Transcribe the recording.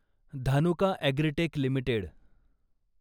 Dhanuka agritech limited